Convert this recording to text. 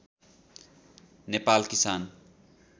नेपाल किसान